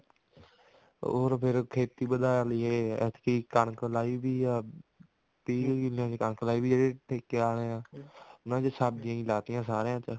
ਹੋਰ ਫ਼ੇਰ ਖੇਤੀ ਵਧਾ ਲਈਏ ਐਤਕੀ ਕਣਕ ਲਾਈ ਹੋਈ ਆ ਤੀਹ ਕਿੱਲੇ ਦੀ ਕਣਕ ਲਾਈ ਹੋਈ ਆ ਜਿਹੜੇ ਠੇਕੇ ਆਲੇ ਆਂ ਉਹਨਾ ਚ ਸਬਜੀਆਂ ਹੀ ਲਾਤੀਆਂ ਸਾਰਿਆਂ ਚ